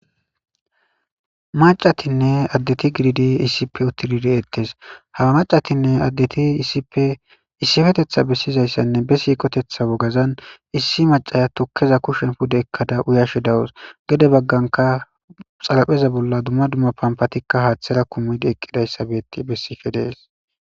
macatinne addeti gididi iisipe uttidi dettes hawa macatinne addeti iisippe issifetetha bessizayssanne be siikotetha wogazan issi macaya tukkeza kushen pude ekkada uyashe dawus gede bagganka xalapheza bolla dumma dumma pampatikka haaththera kumidi eqqidayssabetti bessife dees